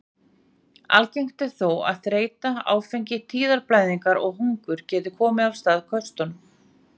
Algengt er þó að þreyta, áfengi, tíðablæðingar og hungur geti komið af stað köstum.